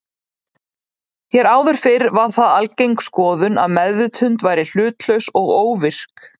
Hér áður fyrr var það algeng skoðun að meðvitund væri hlutlaus og óvirk.